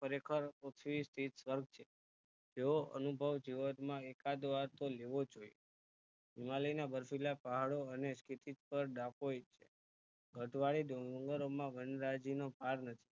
ખરેખર પૃથ્વી છે જેવો અનુભવ જીવનમાં એકાદ વાર તો લેવોજ જોયે હિમાલય ના બરફીલા પ્હાડો અને પર છે ઘટવાળી ડુંગરોમાં વનરાયજીનો પાર નથી